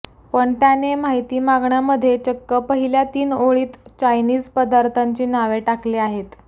पण त्याने माहिती मागण्यामध्ये चक्क पहिल्या तीन ओळीत चायनिझ पदार्थांची नावे टाकली आहेत